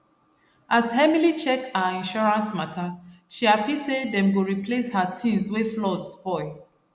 as emily check her insurance matter she happy say dem go replace her things wey flood spoil